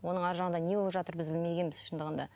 оның ар жағында не болып жатыр біз білмегенбіз шындығында